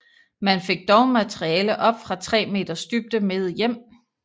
Man fik dog materiale op fra tre meters dybde med hjem